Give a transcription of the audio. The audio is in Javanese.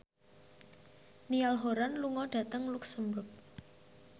Niall Horran lunga dhateng luxemburg